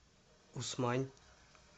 усмань